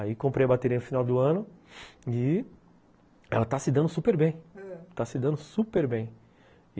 Aí comprei a bateria no final do ano e ela está se dando super bem, ãh, está se dando super bem.